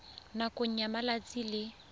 nakong ya malatsi a le